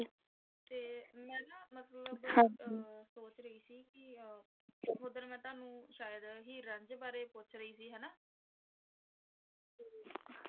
ਤੇ ਮੈਂ ਨਾ ਮਤਲਬ ਸੋਚ ਰਹੀ ਸੀ ਕਿ ਉਸ ਦਿਨ ਮੈ ਤੁਹਾਨੂੰ ਸ਼ਾਇਦ ਹੀਰ ਰਾਂਝੇ ਬਾਰੇ ਪੁੱਛ ਰਹੀ ਸੀ ਹੈਨਾ ਤੇ।